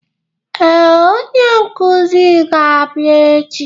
Ee, onye nkuzi ga-abịa echi.